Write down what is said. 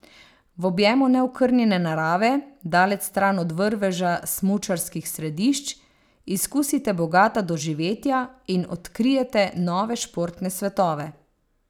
V objemu neokrnjene narave, daleč stran od vrveža smučarskih središč, izkusite bogata doživetja in odkrijete nove športne svetove.